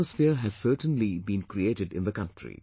An atmosphere has certainly been created in the country